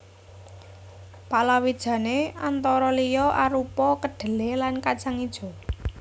Palawijane antara liya arupa kedhelé lan kajang ijo